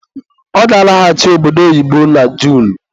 Ọ ga-alaghachi obodo oyibo na Junu